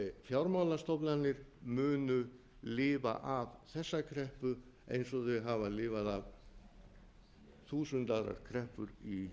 fjármálastofnanir munu lifa af þessa kreppu eins og þau hafa lifað af þúsund ára kreppu í